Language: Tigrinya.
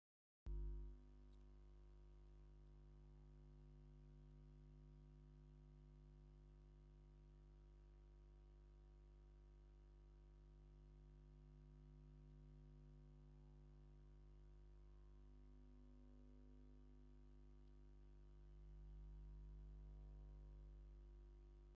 እዚ ሓደ ሰብኣይ ኣብ ድሕሪት ደው ኢሉ ዘርኢ እዩ። ጸሊምን ኣፍሮ ጸጉሪ ኣለዎ፡ኣብ ልዕሊኡ ድማ ንእሽቶ ጻዕዳ ነገር ኮፍ ኢላ ኣላ። እቲ ሰብኣይ ጻዕዳ ሳሽ ተኸዲኑ፡ንቕድሚት ዝኸይድ ዘሎ ይመስል። ኣብዚ ዘሎ ሰብ እንታይ ዓይነት ነገር እዩ ተኸዲኑ ዘሎ?